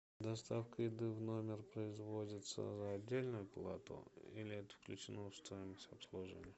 доставка еды в номер производится за отдельную плату или это включено в стоимость обслуживания